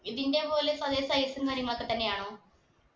ഇതിന്റെ പോലെ പല size ഉം കാര്യങ്ങളൊക്കെ തന്നെയാണോ